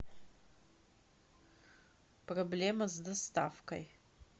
проблема с доставкой